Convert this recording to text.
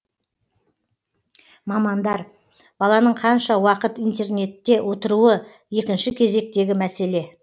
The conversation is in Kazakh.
мамандар баланың қанша уақыт интернетте отыруы екінші кезектегі мәселе